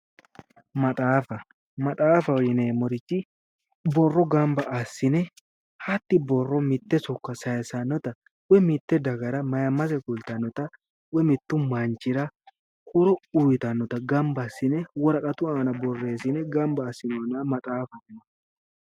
maxaafa, maxaafaho yineemmohu borro gamba assine hatti borro mitte sokko sayissannota woy mitte dagara ayimmase kulittannota woyi mittu manchita borreessine gamba assinoonita maxaaffate